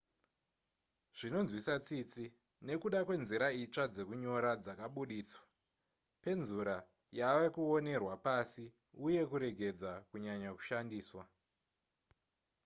zvinonzwisa tsitsi nekuda kwenzira itsva dzekunyora dzakaburitswa penzura yavakuonerwa pasi uye kuregedza kunyanya kushandiswa